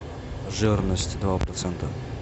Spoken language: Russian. жирность два процента